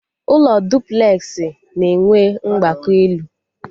Ụlọ dụplex na enwe mgbago elu